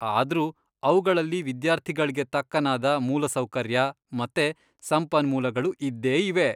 ಆದ್ರೂ ಅವ್ಗಳಲ್ಲಿ ವಿದ್ಯಾರ್ಥಿಗಳ್ಗೆ ತಕ್ಕನಾದ ಮೂಲಸೌಕರ್ಯ ಮತ್ತೆ ಸಂಪನ್ಮೂಲಗಳು ಇದ್ದೇ ಇವೆ.